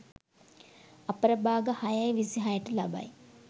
අපර භාග 6.26 ට ලබයි.